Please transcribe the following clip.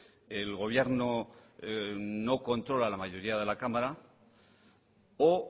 el gobierno no controla la mayoría de la cámara o